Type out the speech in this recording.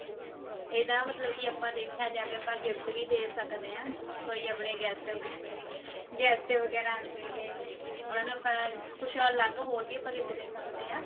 ਇਹਦਾ ਮਤਲਬ ਕੀ ਆਪਾਂ ਦੇਖਿਆ ਜਾਵੇ ਆਪਾਂ gift ਵੀ ਦੇ ਸਕਦੇ ਹਾ ਕੋਈ ਆਪਣੇ guest ਵਗੇਰਾ guest ਵਗੇਰਾ ਆਉਂਦੇ ਨੇ ਉਹਨਾਂ ਨੂੰ ਆਪਾਂ ਕੁਛ ਅਲੱਗ ਆਪਾਂ ਹੋਰ ਵੀ ਆਪਾਂ gift ਦੇ ਸਕਦੇ ਹਾਂ